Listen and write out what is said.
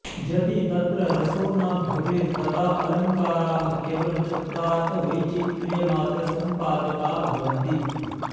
यदि तत्र रसो न भवेत्तदाऽलङ्काराः केवलं शब्दार्थ वैचित्र्य मात्र सम्पादका भवन्ति